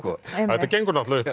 þetta gengur náttúrulega